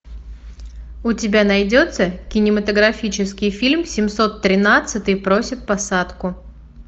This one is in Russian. у тебя найдется кинематографический фильм семьсот тринадцатый просит посадку